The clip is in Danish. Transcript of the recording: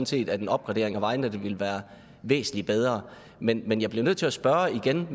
set at en opgradering af vejnettet ville være væsentlig bedre men men jeg bliver nødt til at spørge